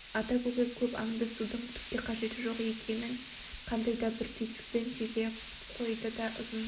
ата көкек көп аңдысудың түкке қажеті жоқ екенін қандай да бір түйсікпен сезе қойды да ұзын